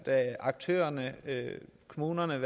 aktørerne kommunerne